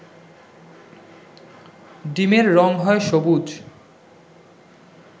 ডিমের রং হয় সবুজ